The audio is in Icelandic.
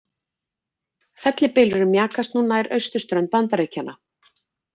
Fellibylurinn mjakast nú nær austurströnd Bandaríkjanna